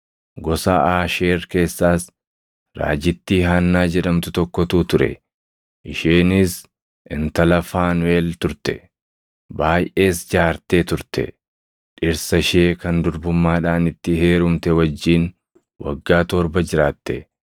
Gosa Aasheer keessaas raajittii Haannaa jedhamtu tokkotu ture. Isheenis intala Faanuʼel turte; baayʼees jaartee turte; dhirsa ishee kan durbummaadhaan itti heerumte wajjin waggaa torba jiraatte;